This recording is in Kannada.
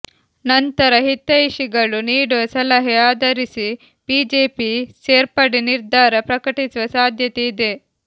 ನಂತರ ಹಿತೈಷಿಗಳು ನೀಡುವ ಸಲಹೆ ಆಧರಿಸಿ ಬಿಜೆಪಿ ಸೇರ್ಪಡೆ ನಿರ್ಧಾರ ಪ್ರಕಟಿಸುವ ಸಾಧ್ಯತೆ ಇದೆ